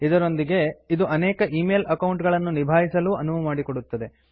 ಇದರೊಂದಿಗೆ ಇದು ಅನೇಕ ಈ ಮೇಲ್ ಅಕೌಂಟ್ ಗಳನ್ನು ನಿಭಾಯಿಸಲು ಅನುವು ಮಾಡಿಕೊಡುತ್ತದೆ